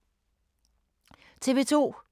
TV 2